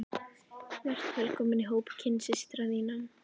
Vertu velkomin í hóp kynsystra þinna.